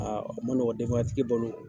Aa nɔgɔ denbayatigi balo